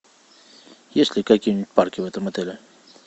есть ли какие нибудь парки в этом отеле